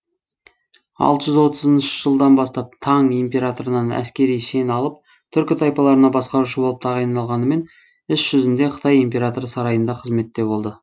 алты жүз отызыншы жылдан бастап таң императорынан әскери шен алып түркі тайпаларына басқарушы болып тағайындалғанымен іс жүзінде қытай императоры сарайында қызметте болды